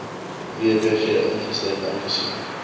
wbg insluit aangesien